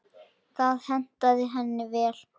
Það hentaði henni vel.